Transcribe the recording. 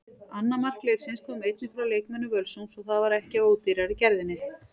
Annað mark leiksins kom einnig frá leikmönnum Völsungs og það var ekki af ódýrari gerðinni.